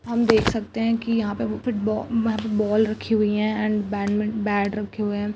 हम देख सकते है की यहां पे फिट फुटबोल रखी हुई है एंड बेड रखे हुए है।